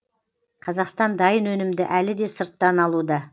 қазақстан дайын өнімді әлі де сырттан алуда